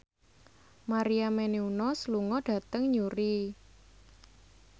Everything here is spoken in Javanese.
Maria Menounos lunga dhateng Newry